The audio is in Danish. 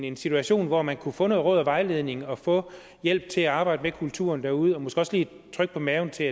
en situation hvor man kunne få noget råd og vejledning og få hjælp til at arbejde med kulturen derude og måske også lige et tryk på maven til